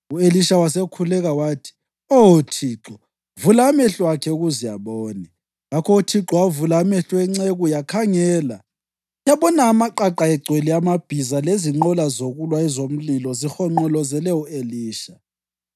U-Elisha wasekhuleka wathi, “Oh Thixo, vula amehlo akhe ukuze abone.” Ngakho uThixo wavula amehlo enceku, yakhangela yabona amaqaqa agcwele amabhiza lezinqola zokulwa ezomlilo zihonqolozele u-Elisha.